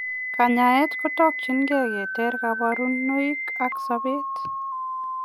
Kanyaet kotakchin gei keteer kaparunoik ak sopeet.